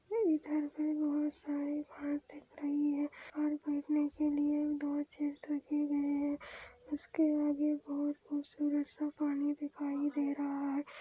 बहुत खूबसूरत - सा पानी दिखाई दे रहा हैं।